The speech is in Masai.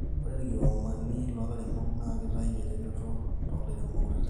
ore irkiomani loolairemoknaa kitayu eretoto toolairemok kutiti